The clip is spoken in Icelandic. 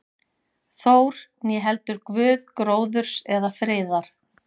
Þór, né heldur guð gróðurs eða friðar.